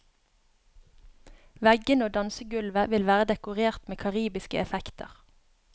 Veggene og dansegulvet vil være dekorert med karibiske effekter.